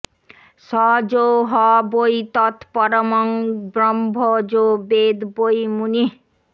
স যো হ বৈ তত্পরমং ব্রহ্ম যো বেদ বৈ মুনিঃ